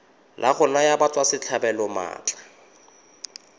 la go naya batswasetlhabelo maatla